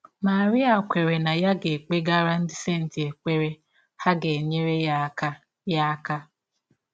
Marie kweere na ya kpegara ndị senti ekpere, ha ga - enyere ya aka. ya aka.